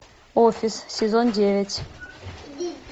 офис сезон девять